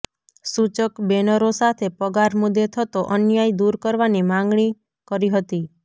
સૂચક બેનરો સાથે પગાર મુદ્દે થતો અન્યાય દૂર કરવાની માગણી કરી હતી